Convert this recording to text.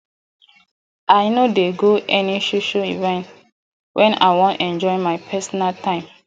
i no dey go any social event wen i wan enjoy my personal time